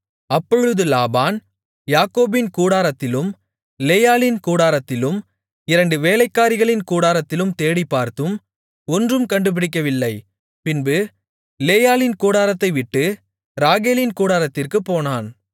அப்பொழுது லாபான் யாக்கோபின் கூடாரத்திலும் லேயாளின் கூடாரத்திலும் இரண்டு வேலைக்காரிகளின் கூடாரத்திலும் தேடிப் பார்த்தும் ஒன்றும் கண்டுபிடிக்கவில்லை பின்பு லேயாளின் கூடாரத்தைவிட்டு ராகேலின் கூடாரத்திற்குப் போனான்